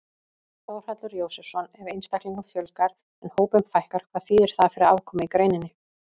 Þórhallur Jósefsson: Ef einstaklingum fjölgar en hópum fækkar, hvað þýðir það fyrir afkomu í greininni?